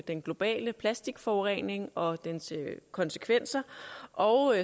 den globale plastikforurening og dens konsekvenser og